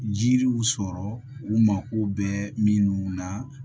Jiriw sɔrɔ u mago bɛ minnu na